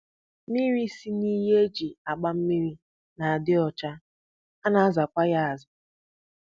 Mmiri si n'iyi e ji agba mmiri na-adị ọcha, a na-azakwa ya aza